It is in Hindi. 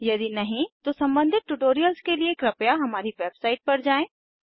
यदि नहीं तो सम्बंधित ट्यूटोरियल्स के लिए कृपया हमारी वेबसाइट पर जाएँ